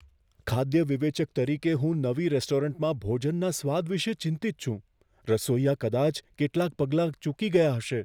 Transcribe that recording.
ખાદ્ય વિવેચક તરીકે, હું નવી રેસ્ટોરન્ટમાં ભોજનના સ્વાદ વિશે ચિંતિત છું. રસોઈયા કદાચ કેટલાંક પગલાં ચૂકી ગયા હશે.